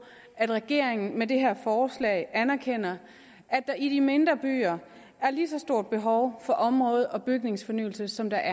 at regeringen med det her forslag anerkender at der i de mindre byer er lige så stort et behov for område og bygningsfornyelse som der